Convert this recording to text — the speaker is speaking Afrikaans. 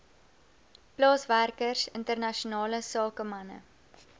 plaaswerkers internasionale sakemanne